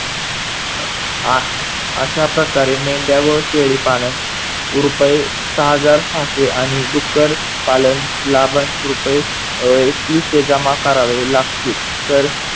आह अश्याप्रकारे मेंढया व शेळीपालन रुपये सहा हजार सहाशे आणि डुक्कर पालन लाभन रुपये एकविशे जमा करावे लागतील. तर